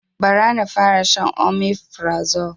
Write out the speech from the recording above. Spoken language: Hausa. Ba ra na fara shan omefrazo